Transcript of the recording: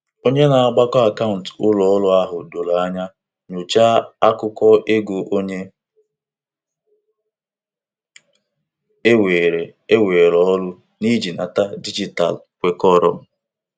Akụkọ azụmahịa nke obere akpa dijitalụ na-enye ndekọ zuru ezu banyere ihe ọ bụla azụrụ.